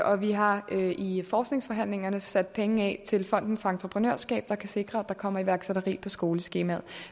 og vi har i forskningsforhandlingerne sat penge af til fonden for entreprenørskab der kan sikre at der kommer iværksætteri på skoleskemaet